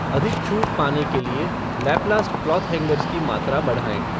अधिक छूट पाने के लिए लैपलास्ट क्लॉथ हैंगर्स की मात्रा बढ़ाएँ।